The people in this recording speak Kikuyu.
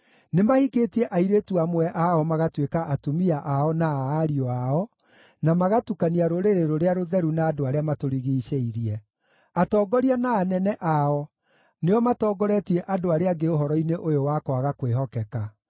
Nĩmahikĩtie airĩtu amwe ao magatuĩka atumia ao na a ariũ ao, na magatukania rũrĩrĩ rũrĩa rũtheru na andũ arĩa matũrigiicĩirie. Atongoria na anene ao nĩo matongoretie andũ arĩa angĩ ũhoro-inĩ ũyũ wa kwaga kwĩhokeka.”